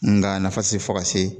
Nga a nafa tɛ se fo ka se